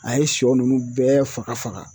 A ye sɔ nunnu bɛɛ faga faga